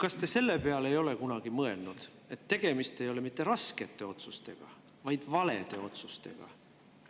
Kas te selle peale ei ole kunagi mõelnud, et tegemist ei ole mitte raskete otsustega, vaid valede otsustega?